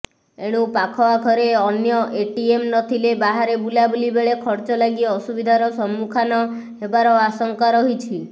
ଏଣୁ ପାଖଆଖରେ ଅନ୍ୟ ଏଟିଏମ ନଥିଲେ ବାହାରେ ବୁଲାବୁଲି ବେଳେ ଖର୍ଚ୍ଚଲାଗି ଅସୁବିଧାର ସମ୍ମୁଖାନ ହେବାର ଆଶଙ୍କା ରହିଛି